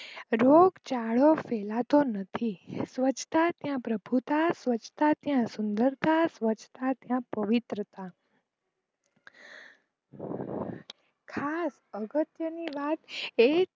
રોગ ચાલો ફેલાતો નથી સ્વચ્છતા ત્યાં પ્રભુતા સ્વચ્છતા ત્યાં સુંદરતા સ્વચ્છતા ત્યાં પ્રવિત્રતા ખાસ અગત્ત્યની વાત એ